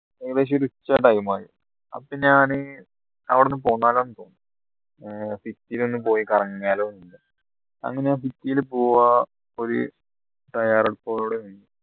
ഏകദേശം ഒരു ഉച്ച time ആയി അപ്പോ ഞാൻ അവിടുന്ന് പോന്നാലോ തോന്നി ഏർ city യിൽ ഒന്ന് പോയി കറങ്ങിയാലോ അങ്ങനെ ഞാൻ city യിൽ പോവാ പോയി തയ്യാറെടുപ്പോടു കൂടെ